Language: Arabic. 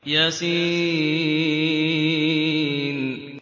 يس